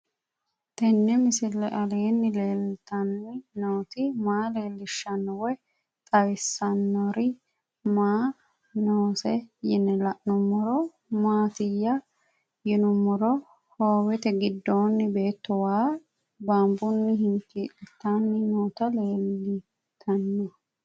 Tenni misile aleenni leelittanni nootti maa leelishshanno woy xawisannori may noosse yinne la'neemmori maattiya yinummoro hoowette gidoonni beetto wa baanbunni hinkiilittanni nootti leelittanno